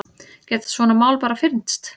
Geta svona mál bara fyrnst?